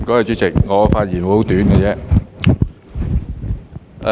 主席，我的發言會很短。